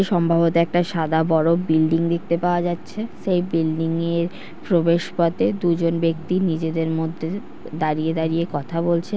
সম্ভবত একটা সাদা বড় বিল্ডিং দেখতে পাওয়া যাচ্ছে। সেই বিল্ডিং -এর প্রবেশ পথে দুজন ব্যক্তি নিজেদের মধ্যে দাঁড়িয়ে দাঁড়িয়ে কথা বলছে।